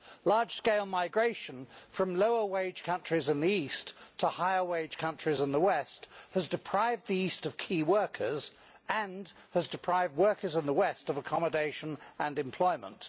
Large scale migration from lower wage countries in the East to higher wage countries in the West has deprived the East of key workers and has deprived workers in the West of accommodation and employment.